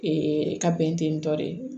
ka bɛn ten tɔ de